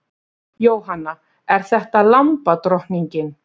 Jóhanna: Er þetta lambadrottningin?